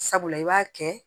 Sabula i b'a kɛ